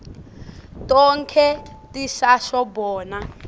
tonkhe tisasho bona